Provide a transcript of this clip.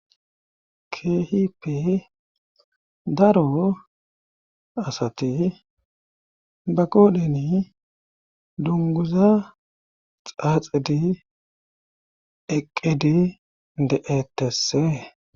Keehippe daro asati ba qoodheni dungguza xaaxidi eqqidi de7ettesse.